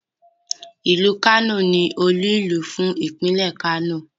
Ìlú Kano ni olú-ìlú fún Ìpínlẹ̀ Kano.